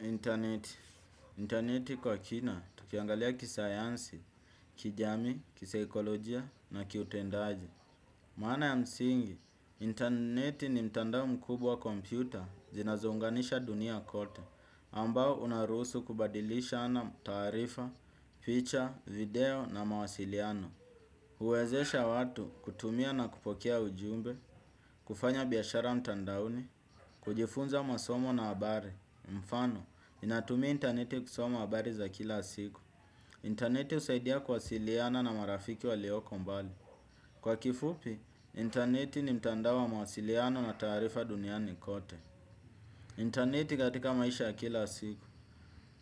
Internet. Internet kwa kina, tukiangalia kisayansi, kijami, kiseikolojia na kiutendaji. Maana ya msingi, internet ni mtandao mkubwa wa kompyuta zinazounganisha dunia kote, ambao unarusu kubadilishana tarifa, feature, video na mawasiliano. Uwezesha watu kutumia na kupokea ujumbe, kufanya biyashara mtandaoni, kujifunza masomo na abari. Mfano, ninatumia interneti kusoma abari za kila siku. Interneti usaidia kwasiliana na marafiki walioko mbali. Kwa kifupi, interneti ni mtandao wa mawasiliano na tarifa duniani kote. Interneti katika maisha kila siku,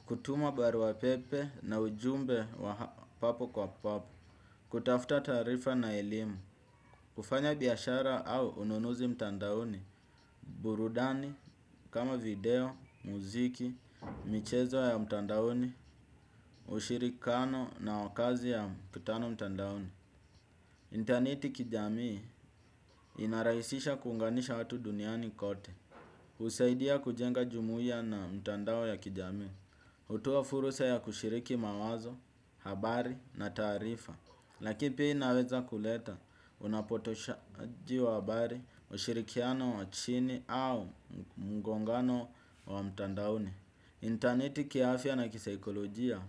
kutuma barua pepe na ujumbe wa papo kwa papo kutafuta tarifa na elimu, kufanya biyashara au ununuzi mtandaoni, burudani, kama video, muziki, michezo ya mtandaoni, ushirikano na wakazi ya mkutano mtandaoni. Interneti kijamii inarahisisha kunganisha watu duniani kote. Usaidia kujenga jumuia na mtandao ya kijamii. Hutoa fursa ya kushiriki mawazo, habari na tarifa. Lakini pia inaweza kuleta unapotoshaji wa habari, ushirikiano wa chini au mungongano wa mtandauni. Internet kiafia na kisaikolojia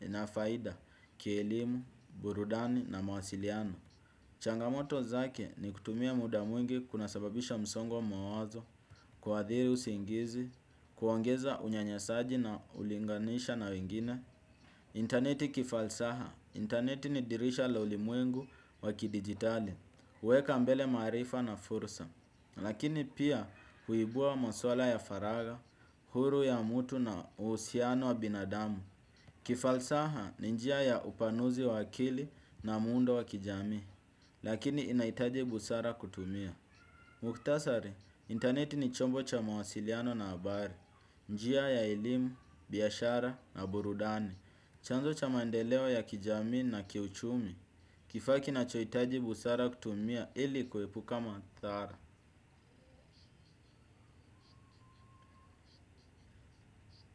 inafaida kielimu, burudani na mawasiliano. Changamoto zake ni kutumia muda mwingi kuna sababisha msongo wa mawazo, kwa adhiri usingizi, kuongeza unyanyasaji na ulinganisha na wengine. Interneti kifalsaha. Interneti ni dirisha la ulimuengu wakidigitali, uweka mbele marifa na fursa, lakini pia huibua maswala ya faraga, huru ya mutu na usiano wa binadamu. Kifalsaha ni njia ya upanuzi wakili na mundo wakijami, lakini inaitaji busara kutumia. Muktasari, interneti ni chombo cha mawasiliano na abari njia ya elimu, biyashara na burudani chanzo cha maendelewo ya kijami na kiuchumi kifa kinachoitaji busara kutumia ili kuhepuka mathara.